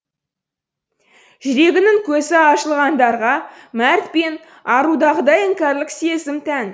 жүрегінің көзі ашылғандарға мәрт пен арудағыдай іңкәрлік сезім тән